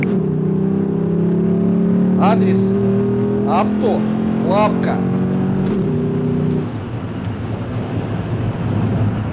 адрес авто лавка